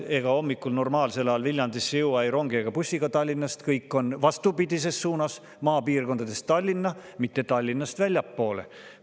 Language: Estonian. Ega hommikul normaalsel ajal ei rongi ega bussiga Tallinnast Viljandisse ei jõua, kõik on vastupidises suunas: maapiirkondadest Tallinna, mitte Tallinnast väljapoole.